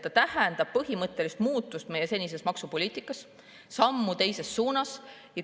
See tähendab põhimõttelist muutust meie senises maksupoliitikas, sammu teises suunas.